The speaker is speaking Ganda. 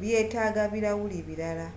byetaaga birawuli birala